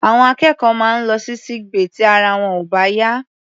Àwọn akẹ́kọ̀ọ́ máa ń lọ sí sick bay tí ara wọn ò bá yá.